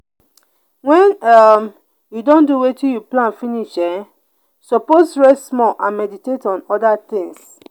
wen um you don do wetin you plan finish you um suppose rest small and meditate on oda things.